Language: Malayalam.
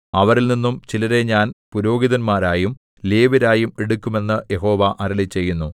അവരിൽനിന്നും ചിലരെ ഞാൻ പുരോഹിതന്മാരായും ലേവ്യരായും എടുക്കും എന്നു യഹോവ അരുളിച്ചെയ്യുന്നു